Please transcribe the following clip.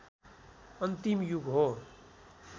अन्तिम युग हो